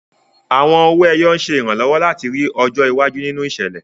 Àwọn owó ẹyọ ń ṣe ìrànlọ́wọ́ láti rí ọjọ́ iwájú nínú ìṣẹ̀lẹ̀.